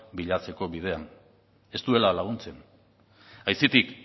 bilatzeko bidean ez duela laguntzen aitzitik